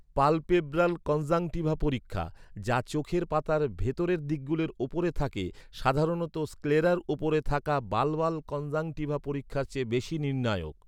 Palpebral conjunctiva পরীক্ষা, যা চোখের পাতার ভিতরের দিকগুলির উপরে থাকে, সাধারণত স্ক্লেরার উপরে থাকা বালবাল কনজাংটিভা পরীক্ষার চেয়ে বেশি নির্ণায়ক।